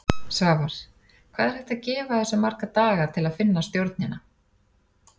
Svavar: Hvað er hægt að gefa þessu marga daga til að finna stjórnina?